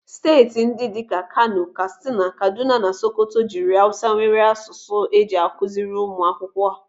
Steeti ndị dịka Kano, Katsina, Kaduna na Sokoto jiri awụsa nwere asụsụ eji akụziiri ụmụ akwụkwọ.